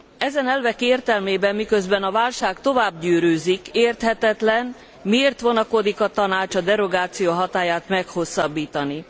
Ezen elvek értelmében miközben a válság tovább gyűrűzik érthetetlen miért vonakodik a Tanács a derogáció hatályát meghosszabbítani.